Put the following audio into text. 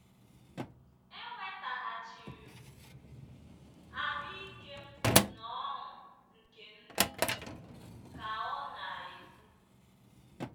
“ Enwetaghachiri m ahụ́ ike m na ọṅụ nke ndụ, ” ka ọ na - ekwu.